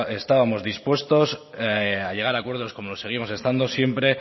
estábamos dispuestos a llegar a acuerdos como seguimos estando siempre